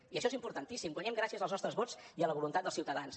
i això és importantíssim guanyem gràcies als nostres vots i a la voluntat dels ciutadans